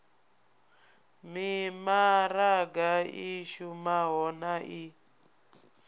mimaraga i shumaho na i